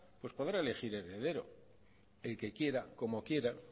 pues podrá regir heredero el que quiera y cómo quiera